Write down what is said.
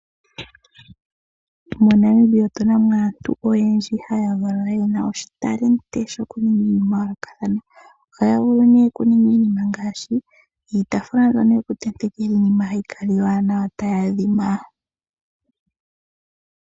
MoNamibia otuna mo aantu oyendji haya valwa yena oshitalenti shoku ninga iinima yayolokathana. Ohaya vulu nee oku ninga iinima ngaashi iitafula mbyono yoku tenteka iinima hayi kala iiwanawa tayi adhima.